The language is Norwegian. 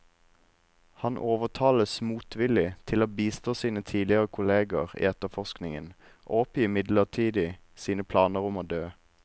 Han overtales motvillig til å bistå sine tidligere kolleger i etterforskningen, og oppgir midlertidig sine planer om å dø.